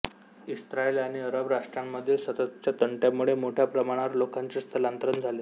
Israel आणि अरब राष्ट्रांमधील सततच्या तंट्यांमुळे मोठ्या प्रमाणावर लोकांचे स्थलांतर झाले